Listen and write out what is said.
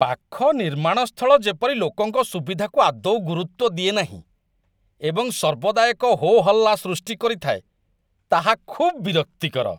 ପାଖ ନିର୍ମାଣ ସ୍ଥଳ ଯେପରି ଲୋକଙ୍କ ସୁବିଧାକୁ ଆଦୌ ଗୁରୁତ୍ୱ ଦିଏ ନାହିଁ ଏବଂ ସର୍ବଦା ଏକ ହୋ' ହଲ୍ଲା ସୃଷ୍ଟି କରିଥାଏ, ତାହା ଖୁବ୍ ବିରକ୍ତିକର